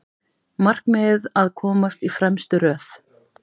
Markmiðið að komast í fremstu röð